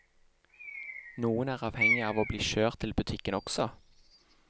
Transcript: Noen er avhengig av å bli kjørt til butikken også.